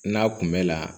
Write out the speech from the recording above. N'a kun bɛ la